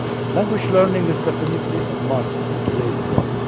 Language learning is definitely a must in today's world.